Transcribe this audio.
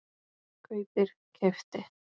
kaupir- keypti